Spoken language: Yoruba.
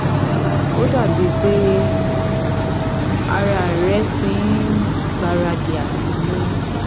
Ó dàbí i pé ara rẹ ti ń gbáradì àti lóyún